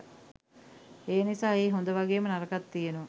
එනිසා එහි හොඳ වගේම නරකත් තියනවා